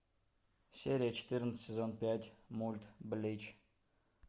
серия четырнадцать сезон пять мульт блич